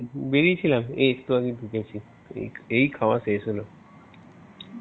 বেরিয়েছিলাম এই একটু আগেই ঢুকেছি এই খাওয়া শেষ হলো